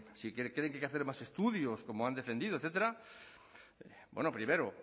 si creen que hay que hacer más estudios como han defendido etcétera bueno primero